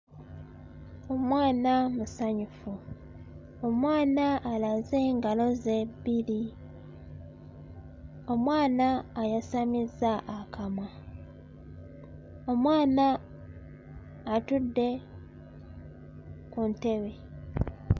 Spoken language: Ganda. Omwana musanyufu. Omwana alaze ngalo ze bbiri. Omwana ayasamizza akamwa. Omwana atudde ku ntebe.